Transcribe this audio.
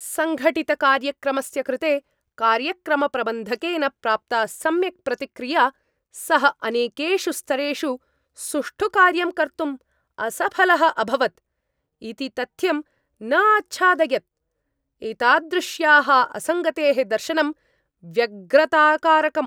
सङ्घटितकार्यक्रमस्य कृते कार्यक्रमप्रबन्धकेन प्राप्ता सम्यक् प्रतिक्रिया, सः अनेकेषु स्तरेषु सुष्ठु कार्यं कर्तुं असफलः अभवत् इति तथ्यं न आच्छादयत्। एतादृश्याः असङ्गतेः दर्शनं व्यग्रताकारकम्।